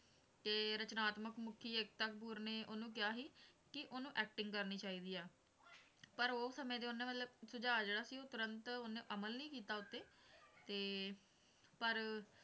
ਤੇ ਰਚਨਾਤਮਕ ਮੁੱਖੀ ਏਕਤਾ ਕਪੂਰ ਨੇ ਉਹਨੂੰ ਕਿਹਾ ਸੀ ਕਿ ਉਹਨੂੰ acting ਕਰਨੀ ਚਾਹੀਦੀ ਆ ਪਰ ਉਹ ਸਮੇਂ ਤੇ ਉਹਨੇ ਮਤਲਬ ਸੁਝਾਅ ਜਿਹੜਾ ਸੀ ਉਹ ਤੁਰੰਤ ਉਹਨੇ ਅਮਲ ਨਹੀਂ ਕੀਤਾ ਉਹ ਤੇ ਤੇ ਪਰ